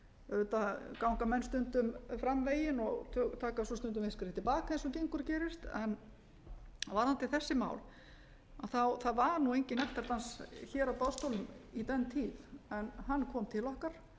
auðvitað ganga menn stundum fram veginn og taka svo stundum eitt skref til baka eins og gengur og gerist en varðandi þessi mál þá var nú enginn nektardans hér á boðstólum í den tid en hann kom til okkar